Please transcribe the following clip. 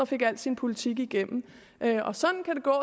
fik al sin politik igennem sådan kan det gå